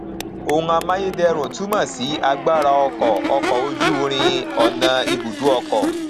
ohun amáyédẹrùn túmọ sí agbára ọkọ ọkọ ojú irin ọnà ibùdó ọkọ